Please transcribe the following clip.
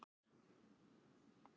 Það er æskilegt nú sem endranær.